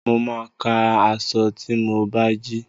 Mo máa ka aṣọ tí mo bá jí